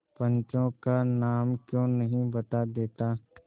पंचों का नाम क्यों नहीं बता देता